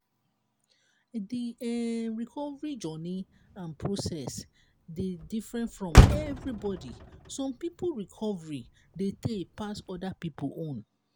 di um recovery journey and process dey different for everybody some pipo recovery dey tey pass oda pipo own